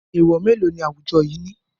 Èèwọ̀ mélòó ni awujọ yìí ní?